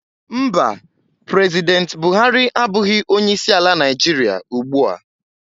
Mba, President Buhari abụghị onye isi ala Nigeria ugbu a